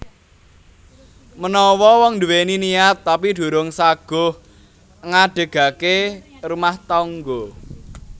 Menawa wong nduwèni niat tapi durung saguh ngadegake rumah tangga